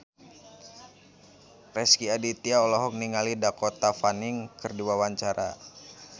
Rezky Aditya olohok ningali Dakota Fanning keur diwawancara